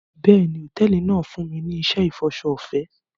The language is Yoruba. Bẹ́ẹ̀ni, hotẹẹli náa n funni ni iṣẹ ifọṣọ ọfẹ